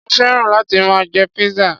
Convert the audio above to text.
Mo féràn láti máa jẹ pizza.